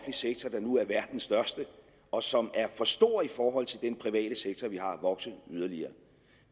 sektor der nu er verdens største og som er for stor i forhold til den private sektor vi har vokse yderligere